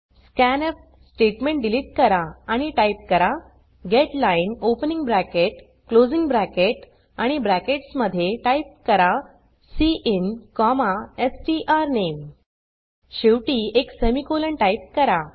scanf statement delete करा आणि type करा getline opening bracket closing bracket आणि ब्रॅकेट्स मध्ये टाइप करा सिन स्ट्रानेम शेवटी एक सेमिकोलॉन टाइप करा